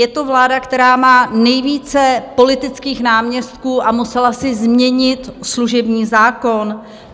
Je to vláda, která má nejvíce politických náměstků a musela si změnit služební zákon.